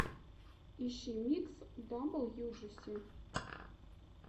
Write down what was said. ищи микс даблюджиси